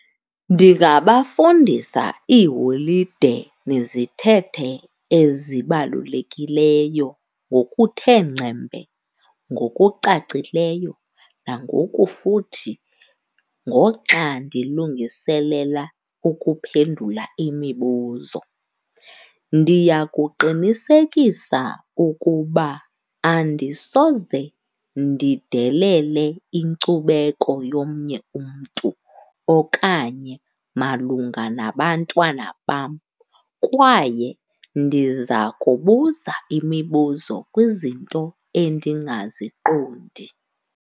Ndingabafundisa iiholide nezithethe ezibalulekileyo ngokuthe ngcembe, ngokucacileyo nangokufuthi ngoxa ndilungiselela ukuphendula imibuzo. Ndiyakuqinisekisa ukuba andisoze ndidelele inkcubeko yomnye umntu okanye malunga nabantwana bam, kwaye ndiza kubuza imibuzo kwizinto endingaziqondi.